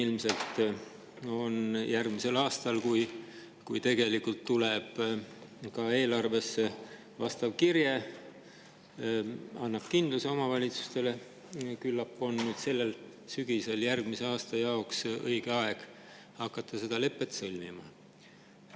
Küllap on sellel sügisel õige aeg hakata seda lepet järgmiseks aastaks sõlmima, siis, kui järgmise aasta eelarvesse tuleb ka vastav kirje, mis annab omavalitsustele kindluse.